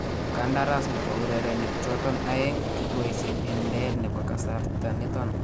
Kandaras nebo urereniik choton aeng kitwaysie en leet nebo kasarta niton